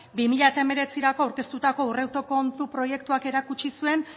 bi mila hemeretzirako aurkeztutako aurrekontu proiektuak erakutsi zuen